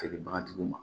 Feerebagatigiw ma